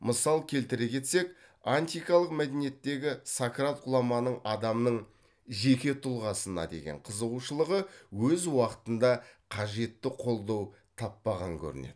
мысал келтіре кетсек антикалық мәдениеттегі сократ ғұламаның адамның жеке тұлғасына деген қызығушылығы өз уақытында қажетті қолдау таппаған көрінеді